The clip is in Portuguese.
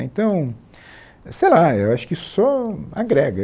Então, sei lá, eu acho que isso só agrega.